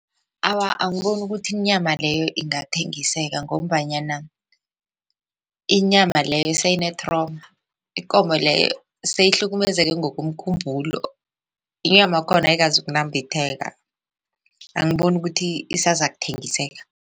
Awa, angiboni ukuthi inyama leyo ingathengiseka ngombanyana inyama leyo seyine-trauma ikomo leyo seyihlukumezeke ngokomkhumbulo inyama yakhona ayikazokunambitheka angiboni ukuthi isazakuthengisela.